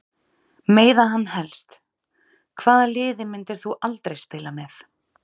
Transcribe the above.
Meiða hann helst Hvaða liði myndir þú aldrei spila með?